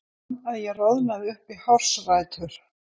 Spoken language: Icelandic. Fann að ég roðnaði upp í hársrætur.